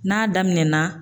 N'a daminɛna